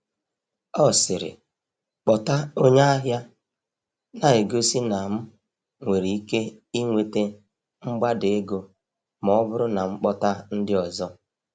Ọ sịrị, “kpọta onye ahịa,” na-egosi na m nwere ike inweta mgbada ego ma ọ bụrụ na m kpọta ndị ọzọ.